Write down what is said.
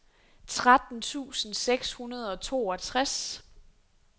tretten tusind seks hundrede og toogtres